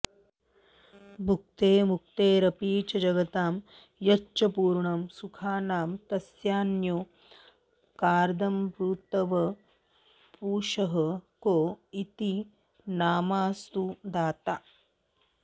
भुक्तेर्मुक्तेरपि च जगतां यच्च पूर्णं सुखानां तस्यान्योऽर्कादमृतवपुषः को हि नामास्तु दाता